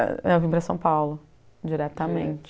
Eu vim para São Paulo, diretamente. Direto?